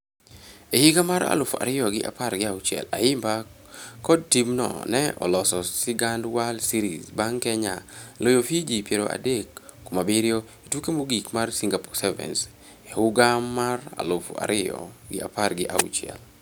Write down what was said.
E higa mar aluf ariyo gi apar gi auchiel, Ayimba kod timno ne oloso sigand World Series bang' Kenya loyo Fiji piero adek kuom abiriyo e tuke mogik mar Singapore Sevens e huga mar aluf ariyo gi apar gi auchuel.